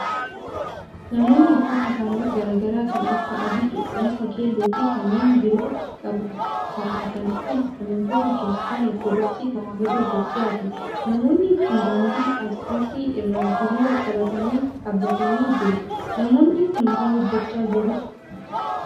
Namoonni Uffata haalluu garaa garaa kan akka adii, cuquliisa, keelloo fi kanneen biroo qabu kaawwatan kun, amantoota Kiristaana Ortodooksii Tawaahidoo Itoophiyaati. Namoonni kun, daandii asfaaltii irra hiriira qabatanii dhaabbatanii jiru. Namoonni kun, maal hojjachaa jiru?